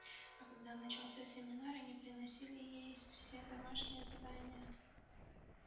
а когда начался семестр они приносили ей все домашние задания